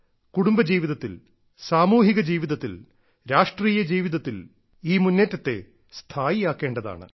കുടുംബ ജീവിതത്തിൽ സാമൂഹിക ജീവിതത്തിൽ രാഷ്ട്രീയ ജീവിതത്തിൽ ഈ മുന്നേറ്റത്തെ സ്ഥായിയാക്കേണ്ടതാണ്